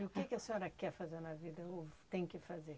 E o que que a senhora quer fazer na vida, ou tem que fazer?